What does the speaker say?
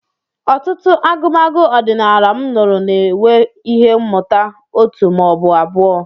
Ọtụtụ agụmagụ ọdịnala m nụrụ na-enwe ihe mmụta òtù ma ọ bụ abụọ.